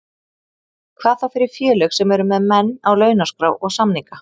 Hvað þá fyrir félög sem eru með menn á launaskrá og samninga.